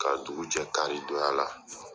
Ka dugu jɛ kari donya la.